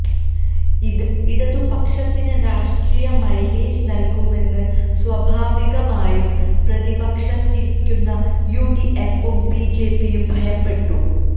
ഇത് ഇടതുപക്ഷത്തിന് രാഷ്ട്രീയ മൈലേജ് നൽകുമെന്ന് സ്വാഭാവികമായും പ്രതിപക്ഷത്തിരിക്കുന്ന യു ഡി എഫും ബി ജെ പിയും ഭയപ്പെട്ടു